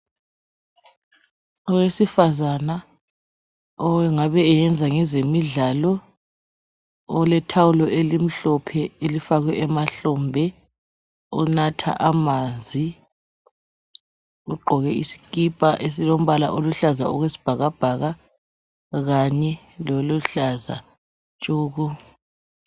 Owesifazana ongabe eyenza ngezemidlalo olethawulo elimhlophe elifakwe emahlombe onatha amanzi uqgoke isikipa esilombala oluhlaza okwesibhaka bhaka kanye loluhlaza tshoko